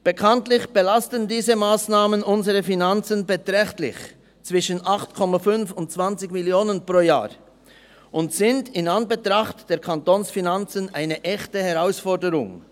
Bekanntlich belasten diese Massnahmen unsere Finanzen beträchtlich – zwischen 8,5 und 20 Mio. Franken pro Jahr – und sind in Anbetracht der Kantonsfinanzen eine echte Herausforderung.